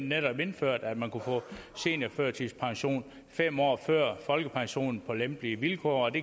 netop indført at man kunne få seniorførtidspension fem år før folkepensionen på lempelige vilkår og